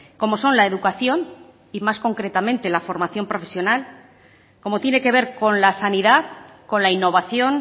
como son la educación y más concretamente la formación profesional como tiene que ver con la sanidad con la innovación